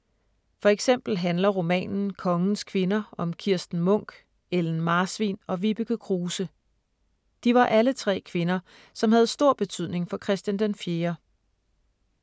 For eksempel handler romanen Kongens kvinder om Kirsten Munk, Ellen Marsvin og Vibeke Kruse. De var alle tre kvinder, som havde stor betydning for Christian den 4.